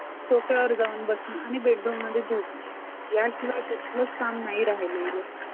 सोफ्या वर जाऊन बसून आणि bedroom मध्ये झोप या शिवाय कुठलेच काम नाही राहिले.